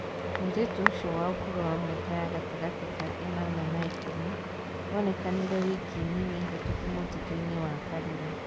Mũĩrĩtũ ũcĩo wa ũkũrũ wa mĩaka ya gatagati ka ĩnana na ikũmi onekanire wiki nini hĩtũku mũtitũ-inĩ wa karura